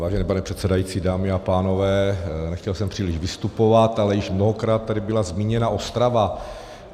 Vážený pane předsedající, dámy a pánové, nechtěl jsem příliš vystupovat, ale již mnohokrát tady byla zmíněna Ostrava.